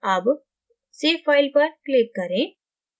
अब save file पर click करें